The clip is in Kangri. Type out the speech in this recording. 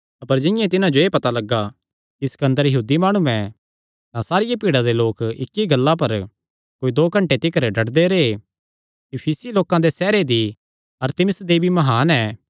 अपर जिंआं ई तिन्हां जो एह़ पता लग्गा कि सिकन्दर यहूदी माणु ऐ तां सारिया भीड़ा दे लोक इक्क ई गल्ला पर कोई दो घंटे तिकर डड्डदे रैह् इफिसी लोकां दे सैहरे दी अरतिमिस देवी म्हान ऐ